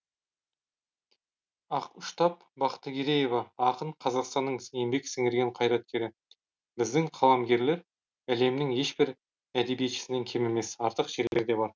ақұштап бақтыгереева ақын қазақстанның еңбек сіңірген қайраткері біздің қаламгерлер әлемнің ешбір әдебиетшісінен кем емес артық жерлері де бар